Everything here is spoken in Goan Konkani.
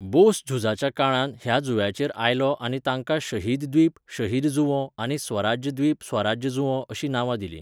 बोस झुजाच्या काळांत ह्या जुंव्यांचेर आयलो आनी तांकां 'शहीद द्वीप' शहीद जुंवो आनी 'स्वराज द्वीप' स्वराज्य जुंवो अशीं नांवां दिलीं.